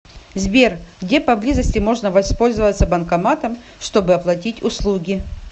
сбер где поблизости можно воспользоваться банкоматом чтобы оплатить услуги